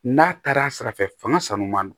N'a taara a sira fɛ fanga sanu ma